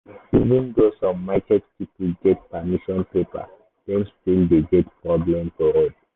even though some market people get permission paper dem still dey get problem for road.